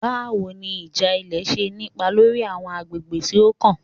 Bawo ni ija ilẹ ṣe ni ipa lori awọn agbegbe ti o kan?